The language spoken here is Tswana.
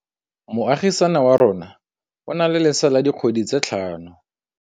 Moagisane wa rona o na le lesea la dikgwedi tse tlhano.